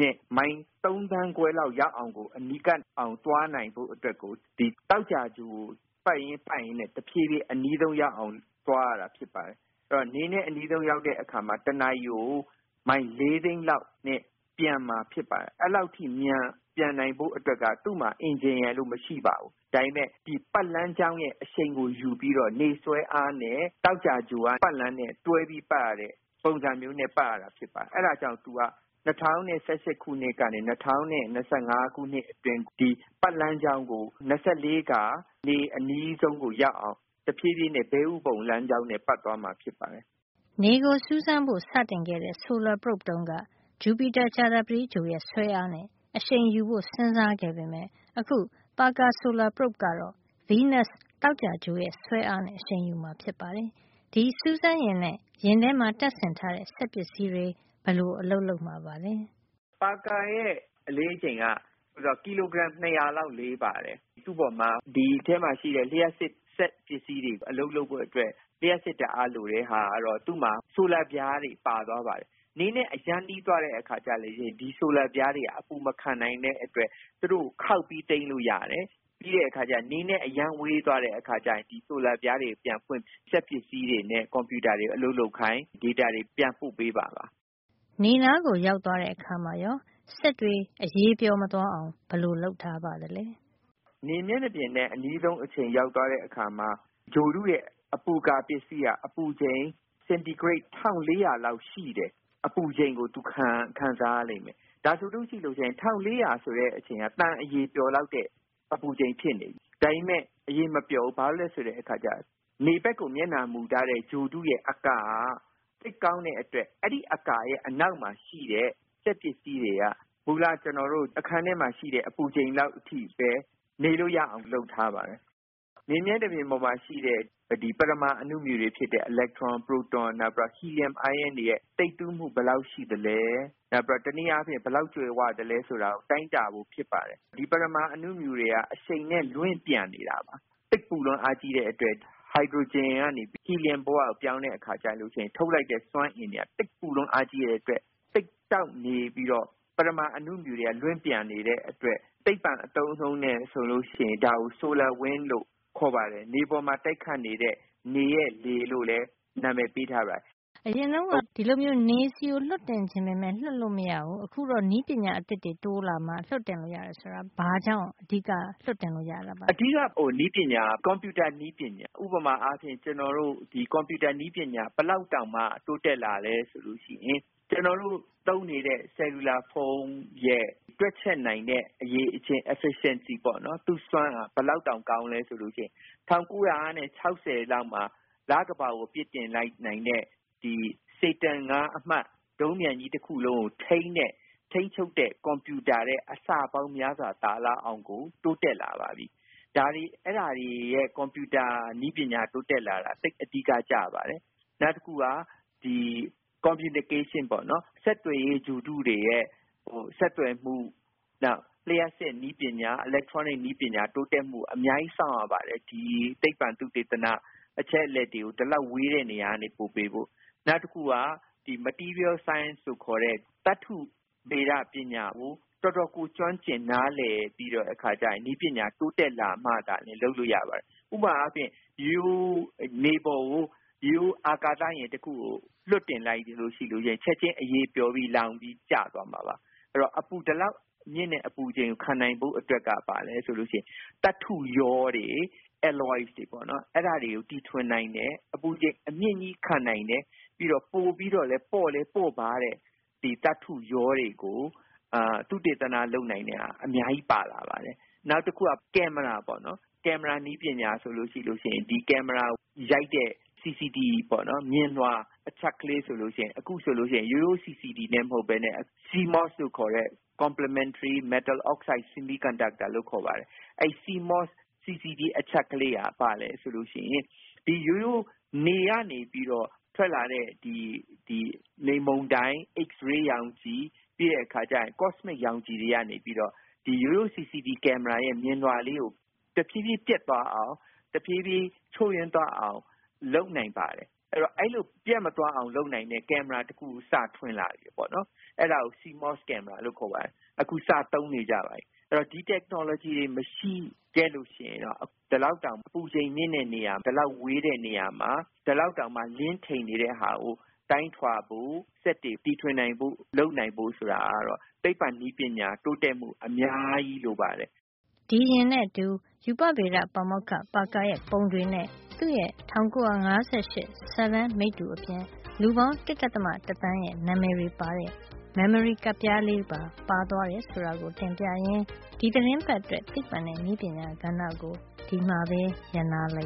နဲ့ မိုင် ၃ သန်းခွဲ လောက် ရောက်အောင်ကို ကပ်အောင်ကို သွားနိုင်ဖို့ အတွက် သောကြာဂြိုဟ်ကို ပတ်ရင်းပတ်ရင်းနဲ့ တဖြေးဖြေး အနီးဆုံး ရောက်အောင် သွားရတာ ဖြစ်ပါတယ်။ ဆိုတော့ နေနဲ့ အနီးဆုံး ရောက်တဲ့ အခါမှာ တနာရီကို မိုင် ၄ သိန်းလောက် နှုန်းနဲ့ ပျံသန်းမှာ ဖြစ်ပါတယ်။” “အဲဒီလောက် အမြန် ပျံသန်းနိုင်ဖို့ အတွက်က သူ့မှာ အင်ဂျင်ရယ်လု့ိ မရှိပါဘူး။ ဒါပေမယ် ဒီပတ်လမ်းကြောင်းရဲ့ အရှိန်ကို ယူပြီးတော့ နေဆွဲအားနဲ့ သောကြာဂြိုဟ်က ပတ်လမ်းနဲ့ တွဲပြီး ပတ်ရတဲ့ ပုံစံမျိုးနဲ့ ပတ်ရတာ ဖြစ်ပါတယ်။ အဲဒါကြောင့် သူက ၂၀၁၈ ခုနှစ်ကနေ ၂၀၂၅ ခုနှစ်အတွင်း ဒီပတ်လမ်းကြောင်းကို ၂၄ ခါ နေအနီးဆုံးကို ရောက်အောင် တဖြေးဖြေးနဲ့ ဘဲဥပုံလမ်းကြောင်း နဲ့ ပတ်သွားမှာ ဖြစ်ပါတယ်။” နေကိုစူးစမ်းဖို့ စခဲ့တဲ့ Solar Probe တုန်းက Jupiter - ကြာသပတေးဂြိုဟ်ရဲ့ ဆွဲအားနဲ့ အရှိန်ယူဖို့ စဉ်းစားခဲ့ပေမယ့် အခု Parker Solar Probe ကတော့ Venus - သောကြာဂြိုဟ်ရဲ့ ဆွဲအားနဲ့ အရှိန်ယူမှာ ဖြစ်ပါတယ်။ ဒီစူးစမ်းယာဉ်နဲ့ ယာဉ်ထဲမှာ တပ်ဆင်ထားတဲ့ စက်ပစ္စည်းတွေ ဘယ်လို အလုပ်လုပ်မှာပါလဲ။ “ပါကာရဲ့ အလေးချိန်က ကီလိုဂရမ် ၂၀၀ လောက်လေးပါတယ်။ သူ့အပေါ်မှာ ဒီအထဲမှာ ရှိတဲ့ လျှပ်စစ် စက်ပစ္စည်းတွေ အလုပ်လုပ်ဖို့အတွက် လျှပ်စစ်ဓါတ်အား လိုတဲ့ အခါ သူ့မှာ ဆိုလာပြားတွေ ပါသွားပါတယ်။ နေနဲ့ အရမ်းနီး သွားတဲ့ အခါကျတော့ ဒီဆိုလာပြားတွေက အပူမခံနိုင်တဲ့ အတွက် သူတို့ကို ခေါက်ပြီး သိမ်းလို့ရတယ်။ နေနဲ့ အရမ်းဝေးသွားတဲ့ အခါကျရင် ဒီဆိုလာပြားတွေ ပြန်ဖွင့်ပြီး စက်ပစ္စည်းတွေနဲ့ ကွန်ပြူတာတွေ အလုပ်လုပ်ခိုင်း၊ data တွေ ပြန်ပို့ပေး သွားမှာပါ။” နေနားကို ရောက်သွားတဲ့အခါမှာရော စက်တွေ အရည်ပျော်မသွားအောင် ဘယ်လိုလုပ်ထားပါသလဲ။ “နေမျက်နှာပြင်နဲ့ အနီးဆုံး နေရာ ရောက်သွားတဲ့ အခါမှာ ဂြိုဟ်တုရဲ့ အပူကာပစ္စည်းက အပူချိန် စင်တီဂရိတ် ၁၄၀၀ လောက်ရှိတဲ့ အပူရှိန်ကို သူခံစားရ လိမ့်မယ်။ ဒါဆိုရင် ၁၄၀၀ ဆိုတဲ့ အရှိန်ဟာ သံအရည်ပျော်လောက်တဲ့ အပူချိန် ဖြစ်နေပြီ။ ဒါပေမယ့် အရည်မပျော်ဘူး။ ဘာကြောင့်လည်း ဆိုတော့ သူက နေဘက်ကို မျက်နှာမူထားတဲ့ ဂြိုဟ်တုရဲ့ အကာက သိပ်ကောင်းတဲ့ အတွက် အဲဒီအကာရဲ့ အနောက်မှာ ရှိတဲ့ စက်ပစ္စည်းတွေက မူလ ကျွန်တော်တို့ အခန်းထဲမှာ ရှိတဲ့ အပူချိန် လောက်အထိ ပဲ နေလို့ရအောင် လုပ်ထားပါတယ်။” “နေမျက်နှာပြင်ပေါ်မှာ ရှိတဲ့ ဒီပရမာ အဏုမြူတွေ ဖြစ်တဲ့ အီလက်ထရွန်၊ ပရိုတွန်နောက် ဟီလီယမ် အိုင်းရွန်းတွေရဲ့ သိပ်သည်းမှုက ဘယ်လောက် ရှိသလဲ၊ ဘယ်လောက် ကြွယ်ဝ သလဲ ဆိုတာကို တိုင်းတာဖို့ ဖြစ်ပါတယ်။ ဒီပရမာ အဏုမြူတွေက အရှိန်နဲ့ လွင့်ပျံနေတာပါ။ သိပ်ပူလွန်းအားကြီး တဲ့အတွက် ဟိုက်ဒရိုဂျင်ကနေ ဟီလီယမ် ဘဝကို ပြောင်းတဲ့ အခါ ကျရင် ထုတ်လိုက်တဲ့ စွမ်းအင်တွေက သိပ်ပူလွန်းအားကြီးတဲ့ အတွက် သိပ်တောက်ပနေပြီးတော့ ပရမာ အဏုမြူတွေက လွင့်ပျံနေတဲ့အတွက် သိပ္ပံ အသုံးအနှုန်းနဲ့ ဆိုလို့ရှိရင် ဒါကို ဆိုလာ wind လို့ခေါ်ပါတယ်။ နေပေါ်မှာ တိုက်ခတ်နေတဲ့ နေရဲ့လေ လို့လည်း နံမယ်ပေးထားပါတယ်။” အရင်တုန်းက ဒီလိုမျိုး နေဆီကို လွှတ်တင်ချင်ပေမယ့် လွှတ်တင်လို့ မရခဲ့ဘူး။ အခုတော့ နည်းပညာ အသစ်တွေ တိုးလာမှ လွှတ်တင်လို့ ရတယ် ဆိုတော့ ဘာနည်းပညာတွေကြောင့် အဓိက လွှတ်တင်လို့ ရတာပါလဲ။ “အဓိက နည်းပညာက ကွန်ပြူတာ နည်းပညာပါ။ ဥပမာ ကွန်ပြူတာ နည်းပညာ ဘယ်လောက်တောင် တိုးတက်လာသလဲ ဆိုလို့ရှိရင် ကျွန်တော်တို့ သုံးနေတဲ့ ဆဲလူလာဖုံး ရဲ့ တွက်ချက်နိုင်တဲ့ အရည်အချင်း efficiency သူ့အစွမ်းက ဘယ်လောက်တောင် ကောင်းသလဲ ဆိုရင် ၁၉၆၀ လောက်မှာ လကမ္ဘာကို ပစ်တင်လိုက်နိုင်တဲ့ Saturn အမှတ် ၅ ဒုံးပံျကြီး တခုလုံး ကို ထိန်းချုပ်တဲ့ ကွန်ပြူတာ ထက် အဆပေါင်း များစွာ သာနေလောက်အောင်ကို တိုးတက်လာပါတယ်။ အဲဒီလို ကွန်ပြူတာ နည်းပညာ တိုးတက်လာတာ က သိပ်အဓိက ကျပါတယ်။” “နောက်တခုက communication ပေါ့နော်။ ဆက်သွယ်ရေး ဂြိုဟ်တုတွေရဲ့ ဆက်သွယ်မှု နောက် လျှပ်စစ် ပညာ electronic နည်းပညာ တိုးတက်မှု အများကြီးစောင့်ရ ပါတယ်။ ဒီသိပ္ပံသုတေသန အချက်အလက်တွေကို ဒီလောက် ဝေးတဲ့ နေရာကနေ ပို့ပေးဖို့။ နောက်တခုက material science လို့ ခေါ်တဲ့ သတ္တုဗေဒ ပညာကို တော်တော်ကို ကျွမ်းကျင် နားလည် ပြီး၊ နည်းပညာတိုးတက်လာမှ သာလျင် လုပ်လို့ရပါတယ်။ ဥပမာအားဖြင့် ရိုးရိုး အာကာသယာဉ်ကို နေပေါ်လွှတ်တင်လိုက်ရင် ချက်ချင်း မီးလောင်ပြီး ပြုတ်ကျလာမှာပါ။ ဒါကြောင့် ဒီလောက် မြင့်တဲ့ အပူရှိန်ကို ခံနိုင်ဖို့ အတွက်က သတ္တုရောတွေ၊ alloys တွေ ပေါ့နော်။ အဲဒါတွေကို တီထွင်နိုင်တယ်။ အပူချိန် အမြင့်ကြီး ခံနိုင်တယ်၊ ပြီးတော့ ပိုပြီးတော့ ပေါ့လည်း ပေါ့ပါးတဲ့ သတ္တုရောတွေကို သုတေသန လုပ်နိုင်တာ အများကြီး ပါလာ ပါတယ်။” “နောက်တခုက ကင်မရာပေါ့။ ကင်မရာနည်းပညာ ဆိုလို့ရှိရင် ဒီကင်မရာကို ရိုက်တဲ့ CCTV ပေါ့နော်။ မြင်လွှာ အချပ်ကလေး ဆိုလို့ ရှိရင် အခုဆိုလို့ရှိရင် ရိုးရိုး CCD နဲ့ မဟုတ်ပဲနဲ့ CMOS လို့ခေါ်တဲ့ Complementary metal–oxide–semiconductor လို့ခေါ်ပါတယ်။ အဲဒီ CMOS – CCD အချပ် ကလေးက ရိုးရိုး နေကနေပြီးတော့ ထွက်လာတဲ့ ဒီ လေမုန်တိုင်း၊ X- ray ရောင်ခြည်၊ cosmic ရောင်ခြည် တွေကနေ ဆို ရိုးရိုး CCD ကင်မရာရဲ့ မြင်လွှာကို တဖြေးဖြေး ပျက်သွားအောင် တဖြေးဖြေး ချို့ယွင်း သွားအောင် လုပ်နိုင်ပါတယ်။ အဲဒီတော့အဲဒီလို ပျက်မသွားအောင် လုပ်နိုင်တဲ့ ကင်မရာ တခု ကို စထွင်လာတယ်။ အဲဒါကို CMOS ကင်မရာလို့ ခေါ်ပါတယ်။ အခု စသုံးနေကြပါပြီ။ အဲဒီတော့ ဒီ နည်းပညာတွေ မရှိခဲ့လို့ ရှိရင်တော့ ဒီလောက်တောင် အပူချိန် မြင့်တဲ့ နေရာ၊ ဒီလောက်တောင် ဝေးတဲ့ နေရာ၊ ဒီလောက်တောင် လင်းထိန်နေတဲ့ နေရာမှာ တိုင်းထွာဖို့ စက်တွေ တီထွင် နိုင်ဖို့ ဆိုတာက သိပ္ပံ နည်းပညာ တိုးတက်မှု အများကြီး လိုပါတယ်။” ဒီယာဉ်နဲ့အတူ ရူပဗေဒ ပါမောက္ခ ပါကာရဲ့ပုံတွေနဲ့ သူ့ရဲ့ ၁၉၅၈ စာတမ်းမိတ္တူ အပြင် လူပေါင်း ၁.၁ သန်းရဲ့ နံမယ်တွေပါတဲ့ memory ကပ်ပြားလေးပါ ပါသွားတယ်ဆိုတာ တင်ပြရင်း ဒီသီတင်းပတ် အတွက် သိပ္ပံနဲ့ နည်းပညာကဏ္ဍကို ဒီမှာပဲ ရပ်နားလိုက